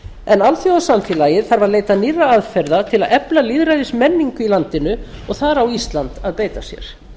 en alþjóðasamfélagið þarf að leita nýrra aðferða til að efla lýðræðismenningu í landinu og þar á ísland að beita sér